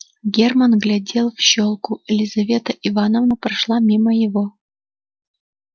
германн глядел в щёлку лизавета ивановна прошла мимо его